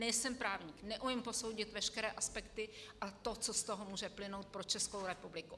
Nejsem právník, neumím posoudit veškeré aspekty a to, co z toho může plynout pro Českou republiku.